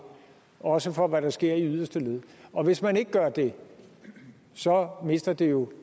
også for hvad der sker i yderste led og hvis man ikke gør det så mister det jo